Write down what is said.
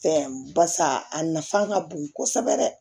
Fɛn barisa a nafan ka bon kosɛbɛ dɛ